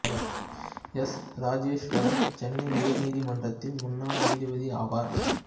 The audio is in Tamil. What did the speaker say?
எஸ் ராஜேஸ்வரன் சென்னை உயர் நீதிமன்றத்தின் முன்னாள் நீதிபதி ஆவார்